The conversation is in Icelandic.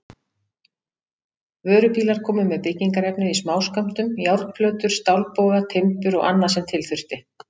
Vörubílar komu með byggingarefnið í smáskömmtum, járnplötur, stálboga, timbur og annað sem til þurfti.